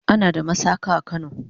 ana da masaka a kano